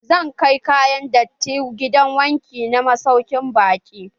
Zan kai kayan datti ba gidan wanki na masaukin baƙi.